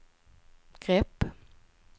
grepp